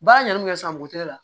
Baara ɲɛnɛn bɛ kɛ san buteli la